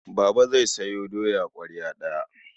Baba zai sayo doya ƙwarya ɗaya.